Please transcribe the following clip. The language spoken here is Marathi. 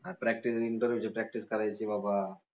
practice interview ची practice करायची बाबा